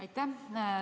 Aitäh!